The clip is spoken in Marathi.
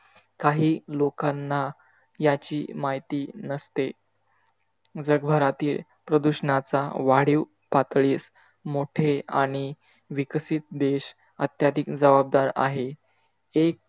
काही लोकांना याची माहिती नसते. जगभरातील प्रदूषणाचा वाढीव पातळीस मोठे आणि विकसित देश अत्याधिक जबाबदार आहे. एक